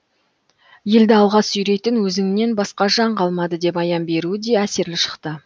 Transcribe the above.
елді алға сүйрейтін өзіңнен басқа жан қалмады деп аян беруі де әсерлі шықты